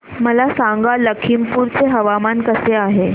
मला सांगा लखीमपुर चे हवामान कसे आहे